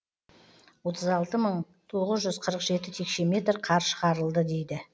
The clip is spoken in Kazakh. отыз алты мың тоғыз жүз қырық жеті текше метр қар шығарылды дейді